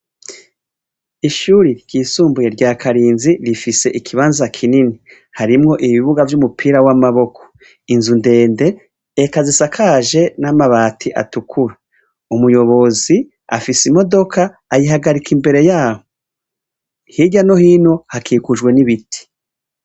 Ishure ryisumbuye rya Karinzi rifise ikibanza kinini harimwo ibibuga vy' umupira w' amaboko inzu ndende eka zisakaje n' amabati atukura umuyobozi afise imodoka ayihagarika imbere yaho hirya no hino hakikujwe n' ibiti.